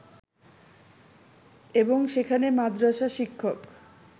এবং সেখানে মাদ্রাসা শিক্ষক